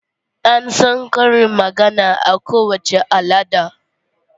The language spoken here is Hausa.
An san karin magana a kowace al'ada.